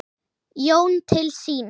Jón til sín.